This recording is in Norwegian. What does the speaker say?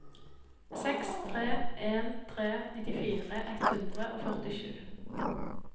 seks tre en tre nittifire ett hundre og førtisju